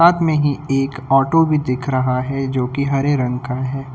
बगल में ही एक ऑटो भी दिख रहा है जो की हरे रंग का है।